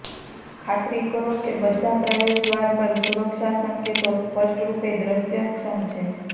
ખાતરી કરો કે બધા પ્રવેશદ્વાર પર સુરક્ષા સંકેતો સ્પષ્ટ રૂપે દૃશ્યક્ષમ છે